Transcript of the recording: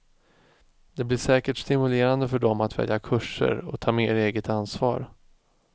Det blir säkert stimulerande för dem att välja kurser och ta mer eget ansvar.